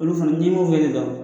Olu fana n'i m'o fɔ e tɛ dɔn